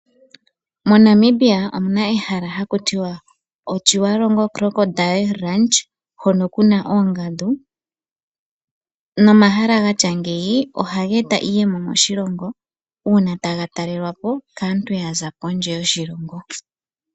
MoNamibia omuna ehala haku tiwa Otjiwarongo Crocodile Lanch, hono kuna oongandu. Nomahala gatya ngeyi ohaga eta iiyemo moshilongo uuna taga talelwapo kaantu yaza kondje yoshilongo.